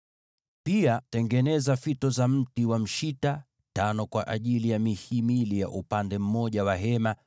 “Pia tengeneza mataruma ya mti wa mshita: matano kwa ajili ya mihimili ya upande mmoja wa maskani,